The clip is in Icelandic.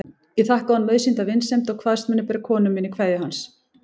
Ég þakkaði honum auðsýnda vinsemd og kvaðst mundu bera konu minni kveðju hans.